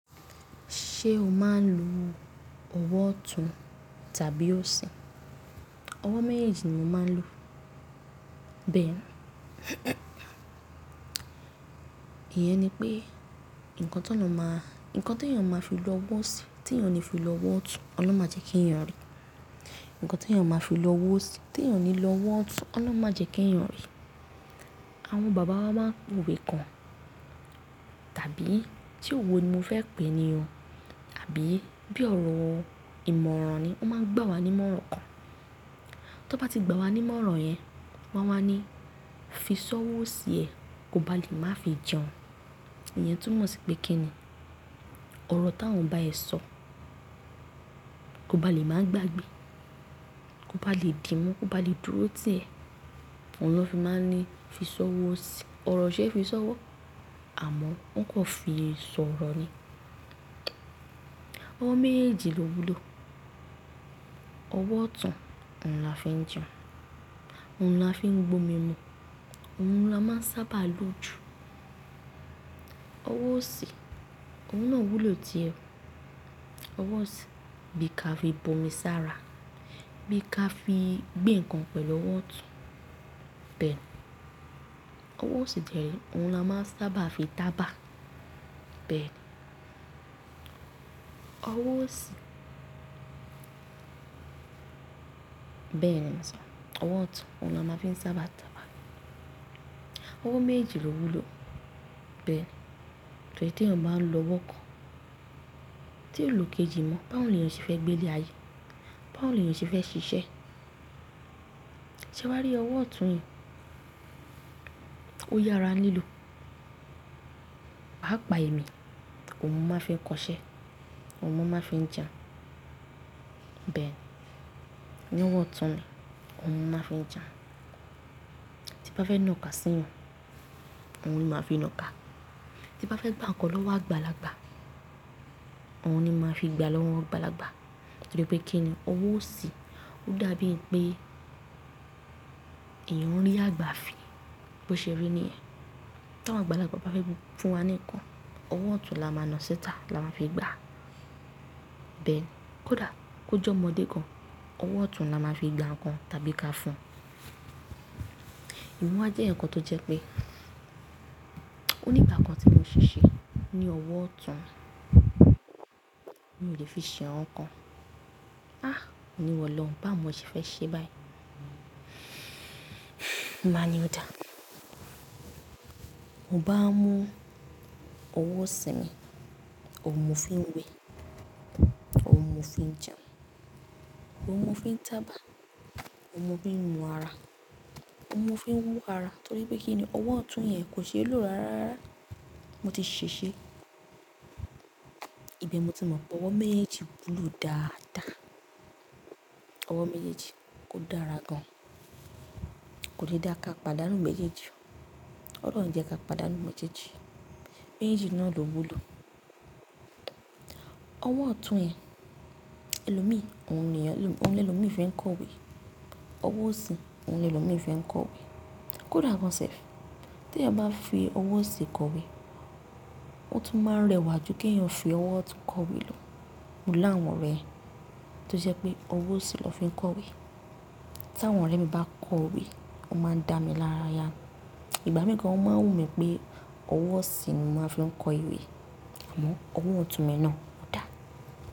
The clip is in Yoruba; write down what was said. Ṣé o máa ń lo ọwọ́ ọ̀tún tàbí òsì? Ọwọ́ méjèèjì ni mo máa ń lo. Bẹ́ẹ̀ni. Iyẹn ni pé nǹkan tó naa máa, nǹkan tí èèyàn máa fi lọ owó sí, tí èèyàn ní fi lọ owó tun, Ọlọ́run máa jẹ́ kí èèyàn arí. Ǹnkan tí èèyàn máa fi lọ owó sí, tí èèyàn ní lọ owó otun, Ọlọ́run máa jẹ́ kí èèyàn rí. Àwọn bàbá wa máa ń wòwe kan, tàbí se òwo ni mo fẹ́ pè é ni o, àbí bí ọ̀rọ̀ ìmọ̀ràn ni ọ́ n máa ń gbà wá ní ìmọ̀ràn kan. Tọ́ n bá ti gbà wá ní ìmọ̀ràn yẹn, wọ́n wá ní, "Fi sọ́wọ́ osí ẹ, kó ba lè má fi jẹun." Ìyẹn tún mọ̀ sí pé kí ni? Ọ̀rọ̀ táwọn bá ẹ sọ, kó ba lè máa gbàgbé, kó ba lè dímú, kó ba lè dúró tì ẹ́, oun ló fi máa ń ní, "Fi sọ́wọ́ osí i." Ọ̀rọ̀ oṣe é fi sọ́wọ́, àmọ́ wọn kò fi sọ̀rọ̀ ni. Ọwọ́ méyèèjì lówú lò. Ọwọ́ ọ̀tún, òun la fi ń jẹun, òun ni a fi ń gbo omi mu, òun ni a máa ń sábà lo jù. Ọwọ́ òsì, òun náà wúlò tí ẹ. Ọwọ́ òsì, bí ka fi bo mi sára, bí ka fi gbé nǹkan pẹ̀lú ọwọ́ ọ̀tún. Bẹ́ẹ̀ ni. Ọwọ́ òsì dẹ́ rè oun la máa ń sábà fi tàbá. Bẹ́ẹ̀ ni. Ọwọ́ òsì. Bẹ́ẹ̀ ni mò sọ. Ọwọ́ ọ̀tún oun ni a máa ń fi sábà tàbá. Ọwọ́ méjèèjì lówú lò. Bẹ́ẹ̀ ni. Torí tí èèyàn bá ń lo ọwọ́ kan, tí òlo ikejì mọ́, báwo ni èèyàn ṣe fẹ́ gbé ilé ayé? Báwo ni èèyàn ṣe fẹ́ ṣiṣẹ́? Ṣé wá rí ọwọ́ ọ̀tún yẹn? Ó yára lílo. Pàápàá èmí, òun ni mo máa fi kọṣẹ́, òun ni mo máa fi ń jẹun. Bẹ́ẹ̀ ni. Ọwọ́ ọ̀tún ni òun ni mo máa fi ń jẹun. Tí n bá fẹ́ nọ́ka sí eeyan, òun ni màá fi nọ́ka. Tí bá fẹ́ gbá ǹnkan lọ́wọ́ àgbàlagbà, òun ni màá fi gbà lọ́wọ́ àgbàlagbà. Torí pé kí ni? Ọwọ́ òsì, ó dàbí è n pé èèyàn ń rí àgbà fi. Bó ṣe rí níyẹn. Ta àwọn àgbàlagbà bá fẹ́ fún wa ní ǹnkan, ọwọ́ ọ̀tún la a máa na síta la máa fi gba. Bẹ́ẹ̀ ni. Kódà kó je ọmọdé gan, ọwọ́ ọ̀tún la máa fi gba nǹkan tàbí ka fún un. Emi wa jẹ́ eeyan kan tó jẹ́ pé ó ní ìgbà kan tí mo ṣèṣe ní ọwọ́ ọ̀tún, mi ò lè fi ṣe iran kan. Á! Mo ní ìwọ̀lọ́hun, báwo mo ṣe fẹ́ ṣe báyìí? N bàá ní ọ́ dà? Mo bá mú ọwọ́ òsì mi, òun mo fi ń wẹ̀, òun mo fi ń jẹun, òun mo fi ń tàbà, òun mo fi ń nu ara, òun mo fi ń wú ara. Torí pé kí ni? Ọwọ́ ọ̀tún yẹn kò ṣe é lò rárárara. Mo ti ṣèṣe. Ìbẹ̀ mo ti mọ̀ pé ọwọ́ méyèèjì wúlò dáadáa. Ọwọ́ méyèèjì kò dára gan. Kò le dáa ká pàdánù méjèèjì. Ọ̀lohun ọ̀ ń jẹ́ ká pàdánù mejeeji Méyèèjì náà ló wúlò. Ọwọ́ ọ̀tún yẹn, ẹlòmíì, òun ni ẹlòmíì fi ń kọ̀wé. Ọwọ́ òsì, òun ni ẹlòmíì fi ń kọ̀wé. Kódà gan self. Tí èèyàn bá fi ọwọ́ òsì kọ̀wé, ó tún máa ń rẹwà ju kí èèyàn fi ọwọ́ ọ̀tún kọ̀wé lọ. Mo láwọn orẹ̀, tó jẹ́ pé ọwọ́ òsì ló fi ń kọ̀wé. Ta àwọn ọ̀rẹ́ mi bá kọ̀wé, ọ́ máa ń dá mi lára ya. Ngbà mìí gan o máa ń wù mí pé ọwọ́ òsì ni mo máa n fi ń kọ ìwé. Àmọ́ ọwọ́ ọ̀tún mi náà ò dáa.